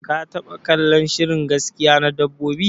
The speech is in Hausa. Ka taba kallon shirin gaskiya na dabbobi?